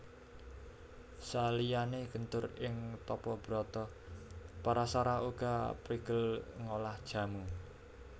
Saliyané gentur ing tapa brata Parasara uga prigel ngolah jamu